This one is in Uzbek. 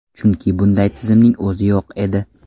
Chunki bunday tizimning o‘zi yo‘q edi.